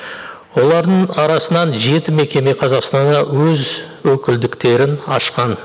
олардың арасынан жеті мекеме қазақстанда өз өкілдіктерін ашқан